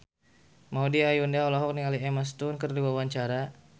Maudy Ayunda olohok ningali Emma Stone keur diwawancara